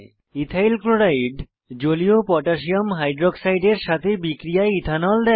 ethyl chloride জলীয় potassium হাইক্সাইডের সাথে বিক্রিয়ায় ইথানল দেয়